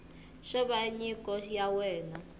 xo va nyiko ya wena